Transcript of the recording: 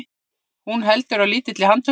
Hún heldur á lítilli handtösku.